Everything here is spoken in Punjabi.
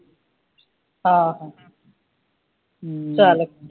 ਆਹੋ ਚਲ